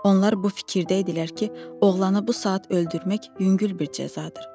Onlar bu fikirdə idilər ki, oğlanı bu saat öldürmək yüngül bir cəzadır.